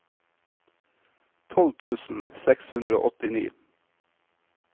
tolv tusen seks hundre og åttini